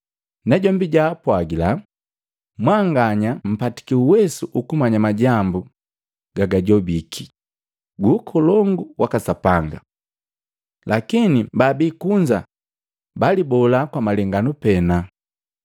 Najombi jaapwagila, “Mwanganya mpatiki uwesu ukumanya majambu gagajobiki gu Ukolongu waka Sapanga. Lakini baabi kunza balibola kwa malenganu pena,